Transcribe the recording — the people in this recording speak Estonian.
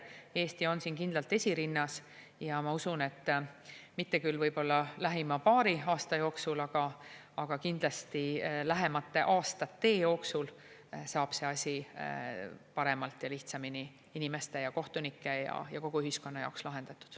Eesti on kindlalt esirinnas ja ma usun, et mitte küll võib-olla lähima paari aasta jooksul, aga kindlasti lähemate aastate jooksul saab see asi paremini ja lihtsamini inimeste ja kohtunike ja kogu ühiskonna jaoks lahendatud.